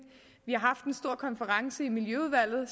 vi har haft en stor konference i miljøudvalget